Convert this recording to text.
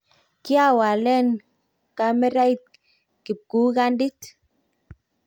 kiawalen kamerait kibukandit